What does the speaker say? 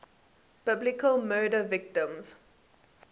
biblical murder victims